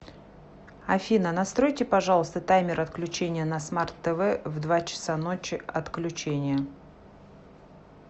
афина настройте пожалуйста таймер отключения на смарт тв в два часа ночи отключение